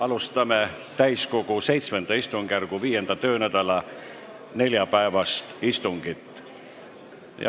Alustame täiskogu VII istungjärgu 5. töönädala neljapäevast istungit.